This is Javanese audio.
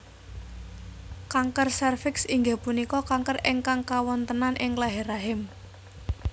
Kanker sèrviks inggih punika kanker ingkang kawontenan ing leher rahim